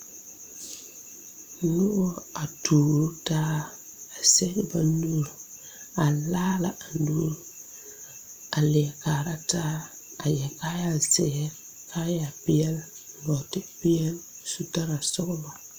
Noba a turo taa a zɛge ba nuuri a laala a nuuri a leɛ kaara taa a yɛre kaayazeere kaayapeɛle nɔɔtepeɛle a su kaayasɔglɔ.